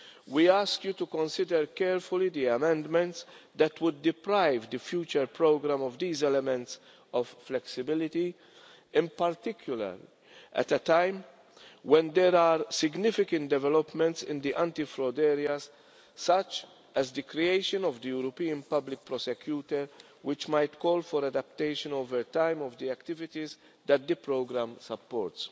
We ask you to consider carefully the amendments that would deprive the future programme of these elements of flexibility, in particular at a time when there are significant developments in the anti fraud area, such as the creation of the European Public Prosecutor, which might call for adaptation over time of the activities that the programme supports.